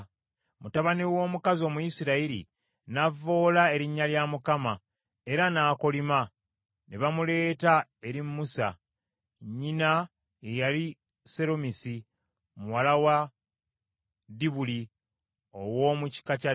Mutabani w’omukazi Omuyisirayiri n’avvoola Erinnya lya Mukama , era n’akolima. Ne bamuleeta eri Musa. Nnyina ye yali Seromisi, muwala wa Dibuli ow’omu kika kya Ddaani.